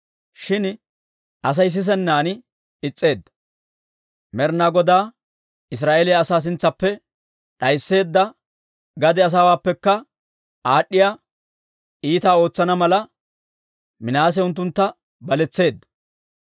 Shin Asay sisennan is's'eedda. Med'ina Godaa Israa'eeliyaa asaa sintsaappe d'aysseedda gade asaawaappekka aad'd'iyaa iitaa ootsana mala, Minaase unttuntta baletseedda.